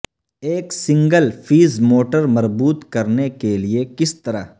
ایک single phase motor مربوط کرنے کے لئے کس طرح